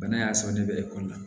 Bana y'a sɔrɔ ne bɛ ekɔli la